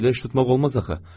Belə iş tutmaq olmaz axı.